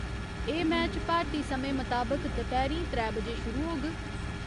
एह् मैच भारती समें मताबक दपैह्‌रीं त्रै बजे शुरू होग।